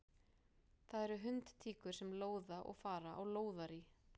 Það eru hundtíkur sem lóða og fara á lóðarí.